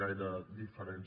gaire diferència